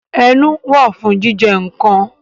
Ẹnu wà fún jíjẹ nǹkan